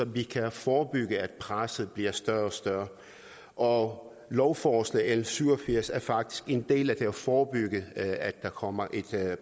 vi kan forebygge at presset bliver større og større og lovforslag nummer l syv og firs er faktisk en del af at forebygge at der kommer et